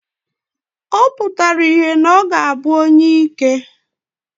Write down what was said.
Ọ pụtara ìhè na ọ ga-abụ onyeike.